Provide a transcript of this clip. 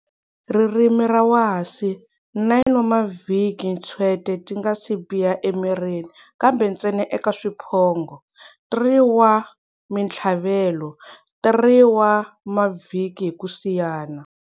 Ririmi ra wasi 9 wa mavhiki ntshwete ti nga si biha emirini kambe ntsena eka swiphongho, 3 wa mintlhavelo, 3 wa mavhiki hi ku siyana.